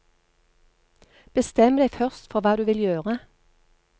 Bestem deg først for hva du vil gjøre.